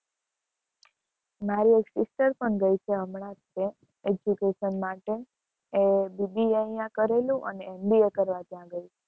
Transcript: મારી એક sister પણ ગઈ છે હમણાં education માટે BBA અહીંયા કરેલું અને MBA કરવા ત્યાં ગઈ છે.